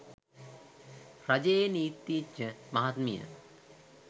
රජයේ නීතිඥමහත්මිය